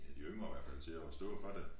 En af de yngre i hvert fald til at stå for det